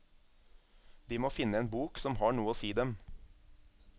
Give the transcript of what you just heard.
De må finne en bok som har noe å si dem.